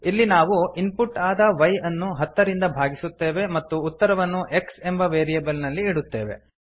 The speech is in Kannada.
ಇಲ್ಲಿ ನಾವು ಇನ್ಪುಟ್ ಆದ y ಅನ್ನು ಹತ್ತರಿಂದ ಭಾಗಿಸುತ್ತೇವೆ ಮತ್ತು ಉತ್ತರವನ್ನು x ಎಂಬ ವೇರಿಯೇಬಲ್ ನಲ್ಲಿ ಇಡುತ್ತೇವೆ